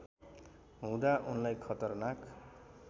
हुँदा उनलाई खतरनाक